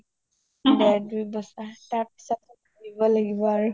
দেৰ দুই বছৰ তাৰ পছতে ঘুৰিব লাগিব আৰু